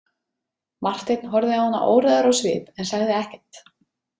Marteinn horfði á hana óræður á svip en sagði ekkert.